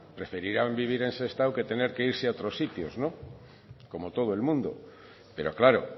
preferirán vivir en sestao que tener que irse a otros sitios como todo el mundo pero claro